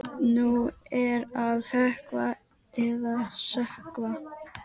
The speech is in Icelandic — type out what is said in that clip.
Nú er að hrökkva eða sökkva!